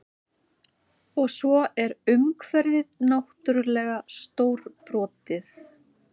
Og svo er umhverfið náttúrlega stórbrotið